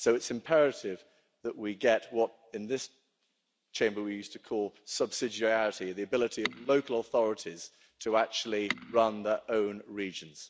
So it's imperative that we get what in this Chamber we used to call subsidiarity' the ability of local authorities to actually run their own regions.